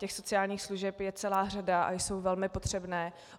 Těch sociálních služeb je celá řada a jsou velmi potřebné.